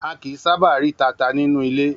A kìí sábà rí tata nínú ilé.